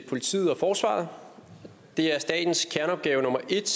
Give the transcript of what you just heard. politiet og forsvaret det er statens kerneopgave nummer et